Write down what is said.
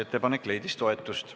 Ettepanek leidis toetust.